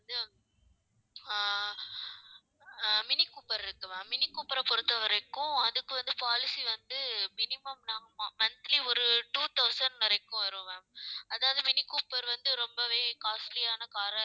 ஆஹ் அஹ் அஹ் Mini Cooper இருக்கு ma'am மினி கூப்பர பொறுத்தவரைக்கும், அதுக்கு வந்து policy வந்து minimum monthly ஒரு two thousand வரைக்கும் வரும் ma'am அதாவது மினி கூப்பர் வந்து ரொம்பவே costly யான car ஆ